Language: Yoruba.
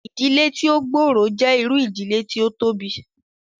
Ìdílé tí ó gbòrò jẹ́ irú ìdílé tí ó tóbi